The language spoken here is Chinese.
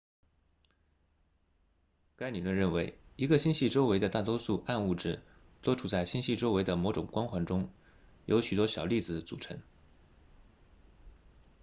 该理论认为一个星系周围的大多数暗物质都处在星系周围的某种光环中由许多小粒子组成